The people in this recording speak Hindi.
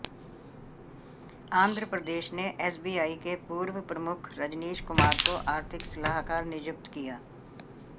आंध्र प्रदेश ने एसबीआई के पूर्व प्रमुख रजनीश कुमार को आर्थिक सलाहकार नियुक्त किया